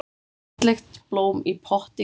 Fallegt blóm í potti grær.